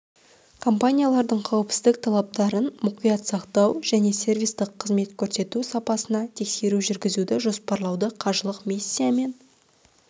компаниялардың қауіпсіздік талаптарын мұқият сақтау және сервистік қызмет көрсету сапасына тексеру жүргізуді жоспарлауда қажылық миссиясы мен